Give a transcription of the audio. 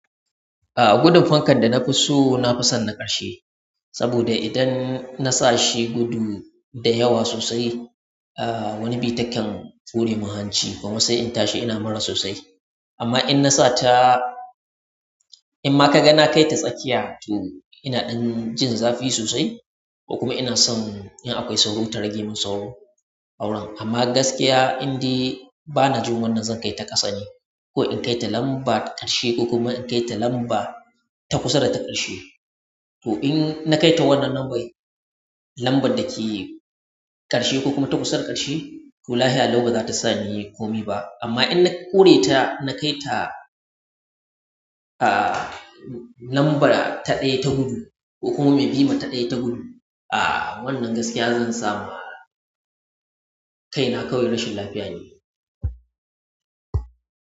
A gudun fankan da na fi so, na fi son na ƙarshe. Saboda idan na sa shi gudu, da yawa sosai, ah wani bi takan hure min hanci, kuma sai in tashi ina mura sosai. Amma in na sata, in ma kaga na kaita tsakiya, to ina ɗan jin zafi sosai. Ko kuma ina son in akwai sauro ta rage min sauro auren. Amma gaskiya indai bana jin wannan zan kai ta ƙasa ne, ko in kai ta lamba ƙarshe ko kuma in kai ta lamba ta kusa da ta ƙarshe. To in na kai ta wannan nubai, lamba da ke ƙarshe ko kuma ta kusa da ƙarshe, to lahiya lau baza ta sa ni komi ba. Amma in na ƙore ta, na kai ta ah, lamba ta ɗaya ta gudu ko kuma mai bi ma ta ɗaya ta gudu, ah wannan gaskiya zan samu kaina kawai rashin lafiya ne.